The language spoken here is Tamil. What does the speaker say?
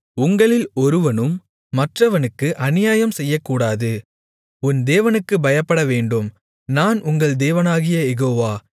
உங்களில் ஒருவனும் மற்றவனுக்கு அநியாயம் செய்யக்கூடாது உன் தேவனுக்குப் பயப்படவேண்டும் நான் உங்கள் தேவனாகிய யெகோவா